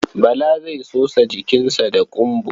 Bala zai sosa jikinsa da ƙumba.